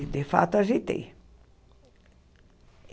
E, de fato, ajeitei.